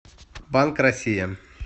банк россия